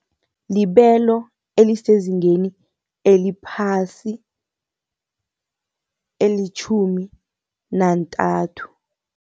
Libelo elisezingeni eliphasi, elitjhumi nantathu.